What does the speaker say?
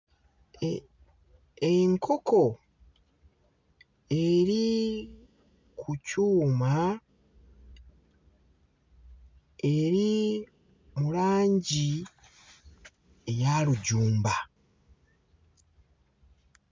E enkoko eri ku kyuma eri mu langi eya lujumba.